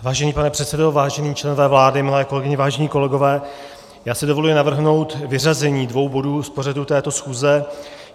Vážený pane předsedo, vážení členové vlády, milé kolegyně, vážení kolegové, já si dovoluji navrhnout vyřazení dvou bodů z pořadu této schůze.